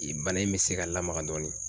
Bana in bɛ se ka lamaga dɔɔnin.